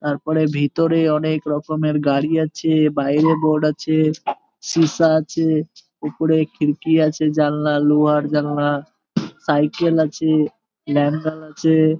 তাপরে ভিতরে অনেক রকমের গাড়ি আছে। বাইরে বোর্ড আছে সীসা আছে। উপরে খিড়কি আছে জানলা লোহার জানলা সাইকেল আছে। আছে।